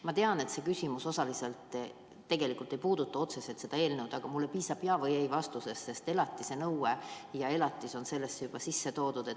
Ma tean, et see küsimus tegelikult ei puuduta otseselt seda eelnõu, aga mulle piisab jaa‑ või ei‑vastusest, sest elatisenõue ja elatis on siia juba sisse toodud.